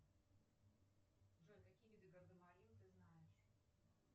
джой какие виды гардемарин ты знаешь